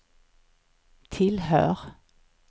tillhör